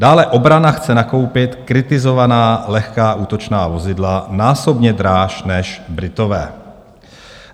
Dále: "Obrana chce nakoupit kritizovaná lehká útočná vozidla násobně dráž než Britové."